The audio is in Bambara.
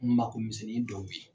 Magomisɛnnin dɔw ye.